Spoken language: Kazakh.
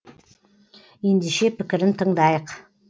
ендеше пікірін тыңдайық